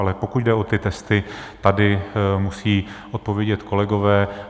Ale pokud jde o ty testy, tady musí odpovědět kolegové.